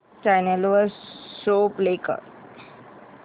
channel वर show play कर